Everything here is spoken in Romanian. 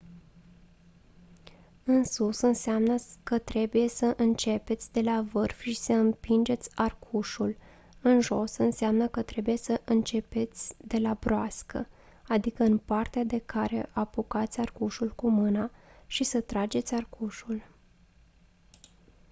în sus înseamnă că trebuie să începeți de la vârf și să împingeți arcușul; în jos înseamnă că trebuie să începeți de la broască adică în partea de care apucați arcușul cu mâna și să trageți arcușul